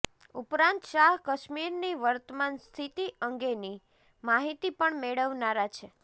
ઉપરાંત શાહ કાશ્મીરની વર્તમાન સ્થિતિ અંગેની માહીતી પણ મેળવનારા છે